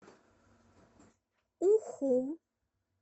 уху